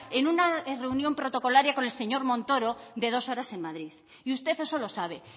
en una reunión protocolaria con el señor montoro de dos horas en madrid y usted eso lo sabe